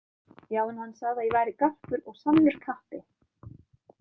Já, en hann sagði að ég væri garpur og sannur kappi